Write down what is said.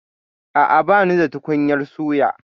A'a, banida tukunyar suya.